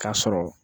K'a sɔrɔ